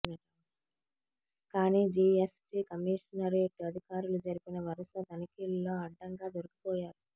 కానీ GST commissionerate అధికారులు జరిపిన వరుస తనిఖీల్లో అడ్డంగా దొరికిపోయారు